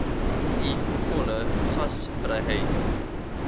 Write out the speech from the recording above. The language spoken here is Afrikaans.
u volle gasvryheid